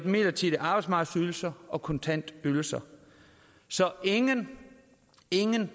midlertidige arbejdsmarkedsydelser og kontantydelser så ingen ingen